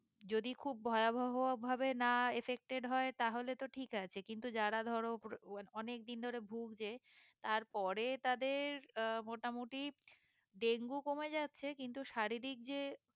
যদি খুব ভয়াবহ ভাবে না affected হয়ে তাহলে তো ঠিক আছে কিন্তু যারা ধরো অনেকদিন ধরে ভুগছে তার পরে তাদের আহ মোটামুটি ডেঙ্গু কমে যাচ্ছে কিন্তু শারীরিক যে